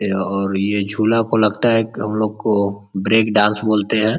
यह और ये झूला को लगता है क् हम लोग को ब्रेक डांस बोलते है।